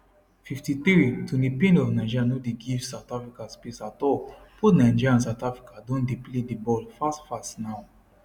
53 toni payne of nigeria no dey give south africans space at all both nigeria and south africa don dey play di ball fast fast now